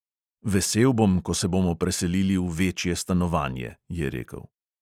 "Vesel bom, ko se bomo preselili v večje stanovanje," je rekel.